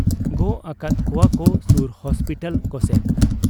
ᱜᱚᱜ ᱟᱠᱟᱫ ᱠᱚᱣᱟᱠᱚ ᱥᱩᱨ ᱦᱚᱥᱯᱤᱴᱟᱞ ᱠᱚᱥᱮᱫ ᱾